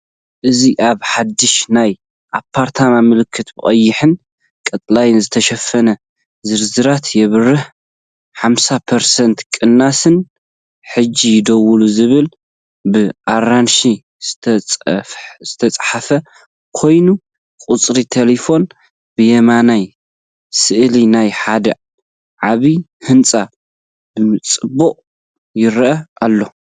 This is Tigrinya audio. እዚ ኣብ ሓድሽ ናይ ኣፓርታማ ምልክታ፡ ብቐይሕን ቀጠልያን ዝተሸፈነ ዝርዝራት ይበርህ። 50% ቅናስን ‘ሕጂ ደውሉ!’ ዝብል ብኣራንሺ ዝተጻሕፈ ኮይኑ፡ ቁጽሪ ተሌፎን ብየማን ስእሊ ናይ ሓደ ዓቢ ህንጻ ብጽባቐ ይረአ ኣሎ።